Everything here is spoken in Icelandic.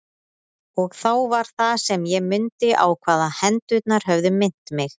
Og þá var það sem ég mundi á hvað hendurnar höfðu minnt mig.